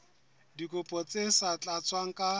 dikopo tse sa tlatswang ka